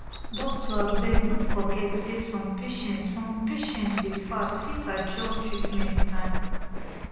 doctor abeg no forget say some patients some patients dey fast fit adjust treatment time